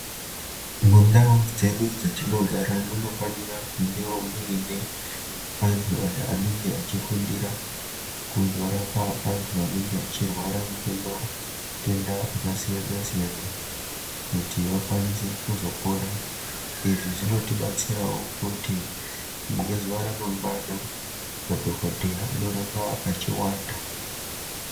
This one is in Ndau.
Mundau dzedu dzetinogara munofanira kungewo muine antu aya anenge achifundira kuzorapa antu anenge achirwara ngematenda akasiyana-siyana kuti vakwanise kuzopora. Izvi zvinotibatsirawo kuti ngezuwa ramangwana madhokodheya anoramba echiwanda.